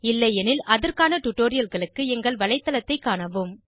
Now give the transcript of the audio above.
இல்லையெனில் அதற்கான டுடோரியல்களுக்கு எங்கள் வலைத்தளத்தைக் காணவும்